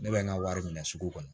Ne bɛ n ka wari minɛ sugu kɔnɔ